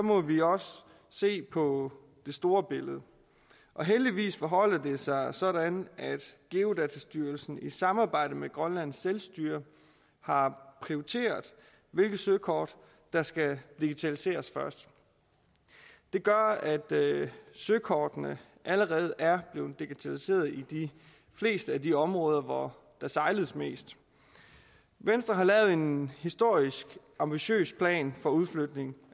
må vi også se på det store billede og heldigvis forholder det sig sådan at geodatastyrelsen i samarbejde med grønlands selvstyre har prioriteret hvilke søkort der skal digitaliseres først det gør at søkortene allerede er blevet digitaliseret i de fleste af de områder hvor der sejles mest venstre har lavet en historisk ambitiøs plan for udflytning